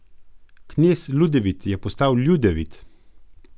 Knez Ludevit je postal Ljudevit...